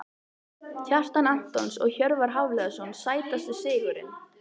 Kjartan Antons og Hjörvar Hafliðason Sætasti sigurinn?